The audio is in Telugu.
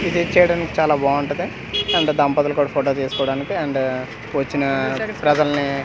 విజిట్ చేయడానికి చాలా బావుంటది అండ్ దంపతులు కూడా ఫోటో తీస్కోవడానికి అండ్ వచ్చిన ప్రజల్ని--